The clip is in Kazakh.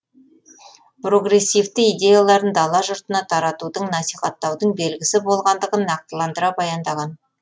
прогрессивті идеяларын дала жұртына таратудың насихаттаудың белгісі болғандығын нақтыландыра баяндаған